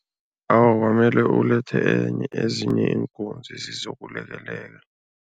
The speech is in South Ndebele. Awa, kwamele ulethe ezinye iinkunzi zizokulekelela.